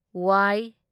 ꯋ